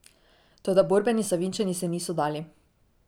Toda borbeni Savinjčani se niso dali.